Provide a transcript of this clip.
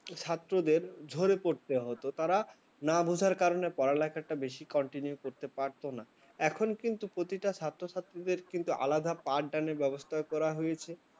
ছাত্রদের ঝরে পড়তে হত তারা না বোঝার কারণে পড়ালেখা, একটু বেশি continue করতে পারত না এখন কিন্তু প্রতিটা ছাত্রছাত্রীদের আলাদা পাঠদানের ব্যবস্থা করা হয়েছে।